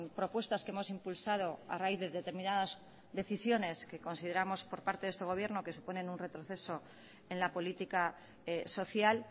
propuestas que hemos impulsado a raíz de determinadas decisiones que consideramos por parte de este gobierno que suponen un retroceso en la política social